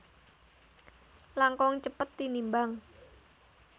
langkung cepet tinimbang